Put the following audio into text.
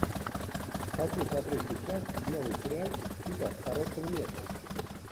хочу смотреть сейчас новый сериальчик типа короткого метра